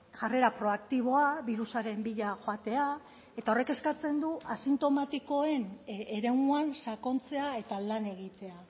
jarrera proaktiboa birusaren bila joatea eta horrek eskatzen du asintomatikoen eremuan sakontzea eta lan egitea